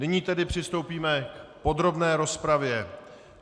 Nyní tedy přistoupíme k podrobné rozpravě.